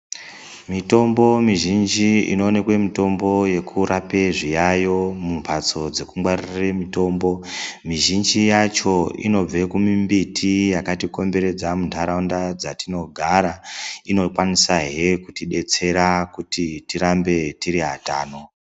Mitombo mizhinji inoonekwe mitombo yekurape zviyayo mumhatso dzekungwarire mutombo muzhinji yacho inobve kumumbiti yakatikomberedza muntaraunda dzatinogara inokwanisahe kutidetsera kuti tirambs tiri atano.